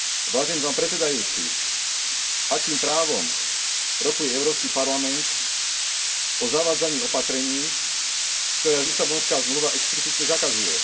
Vážený pán predsedajúci, akým právom rokuje Európsky parlament o zavádzaní opatrení, ktoré Lisabonská zmluva explicitne zakazuje.